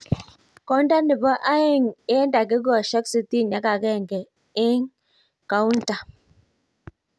Konda nebo aeng eng dakikoshek 61 eng kaunta.